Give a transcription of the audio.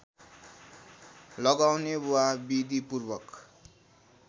लगाउने वा विधिपूर्वक